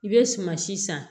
I bɛ sumansi san